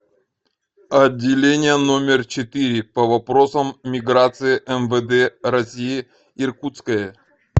отделение номер четыре по вопросам миграции мвд россии иркутское